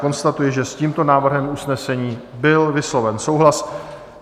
Konstatuji, že s tímto návrhem usnesení byl vysloven souhlas.